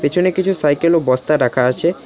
পেছনে কিছু সাইকেল ও বস্তা রাখা আছে।